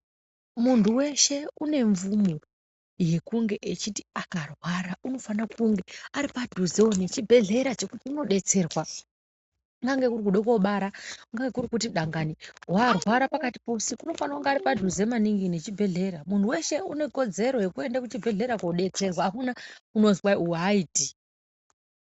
Muntu weshe une mvumo yekunge echiti akarwara unofana kunge aripadhuzewo nechibhedhlera chekuti unodetserwa. Kungange kuri kude koobara, kungange kuri kuti dangani warwara pakati peusiku, unofanira kunga ari padhuze maningi nechibhedhlera. Muntu weshe une kodzero yekuende kuchibhedhlera koodetserwa, akuna unozwi kwai uwo aaiti.